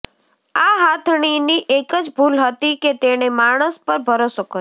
આ હાથણીની એક જ ભૂલ હતી કે તેણે માણસ પર ભરોસો કર્યો